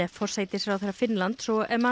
forsætisráðherra Finnlands